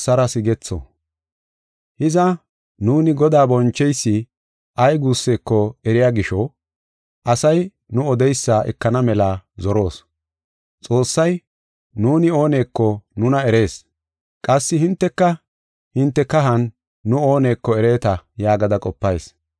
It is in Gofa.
Hiza, Godaa yashshi ay guusseko nuuni eriya gisho, asay nu odeysa ekana mela zoroos. Xoossay, nuuni ooneko nuna erees; qassi hinteka hinte kahan nu ooneko ereeta yaagada qopayis.